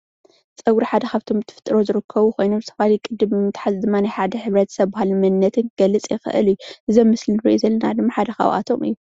ፀጉሪ ሓደ ካብቶም ብተፈጥሮ ዝርከቡ ኮይኖም ዝተፈላለየ ቅዲ ብምትሓዝ ድማ ናይ ሓደ ሕብረተሰብ ባህልን መንነት ክገልፅ ይክእል እዩ፣ እዚ ኣብ ምስሊ እንሪኦ ዘለና ድማ ሓደ ካብኣቶም እዩ፡፡